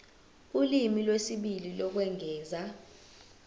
ulimi lwesibili lokwengeza